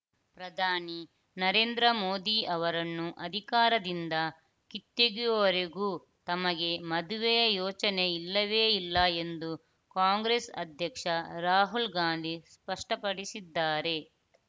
ಪ್ರಧಾನಿ ನರೇಂದ್ರ ಮೋದಿ ಅವರನ್ನು ಅಧಿಕಾರದಿಂದ ಕಿತ್ತೆಗೆಯುವರೆಗೂ ತಮಗೆ ಮದುವೆಯ ಯೋಚನೆ ಇಲ್ಲವೇ ಇಲ್ಲ ಎಂದು ಕಾಂಗ್ರೆಸ್‌ ಅಧ್ಯಕ್ಷ ರಾಹುಲ್‌ ಗಾಂಧಿ ಸ್ಪಷ್ಟಪಡಿಸಿದ್ದಾರೆ